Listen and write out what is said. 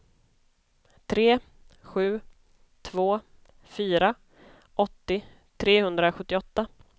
tre sju två fyra åttio trehundrasjuttioåtta